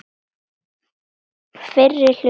Fyrri hluti.